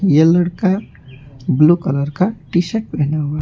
यह लड़का blue colour का टी शर्ट पहना हुआ--